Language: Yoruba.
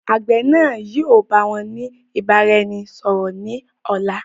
Àgbẹ̀ náà yìi ó báwọn ni ìbáraẹnisọọ̀rọ̀ ni ọ̀la.